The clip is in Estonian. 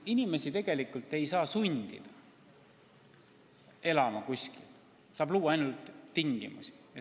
Noh, inimesi tegelikult ei saa sundida kuskil elama, aga tingimusi luua saab.